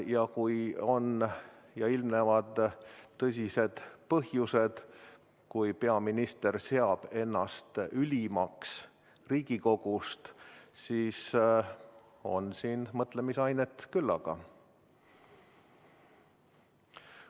Ja kui on tõsised põhjused, kui peaminister seab ennast ülemaks Riigikogust, siis on siin mõtlemisainet küllaga.